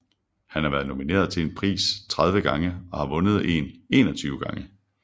Han har været nomineret til en pris 30 gange og har vundet en 21 gange